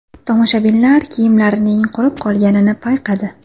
Tomoshabinlar kiyimlarining qurib qolganini payqadi.